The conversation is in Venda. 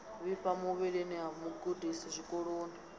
vhifha muvhilini ha mugudiswa zwikoloni